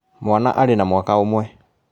Mwana arĩ na mwaka ũmwe